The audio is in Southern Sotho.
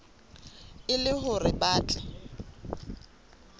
e le hore ba tle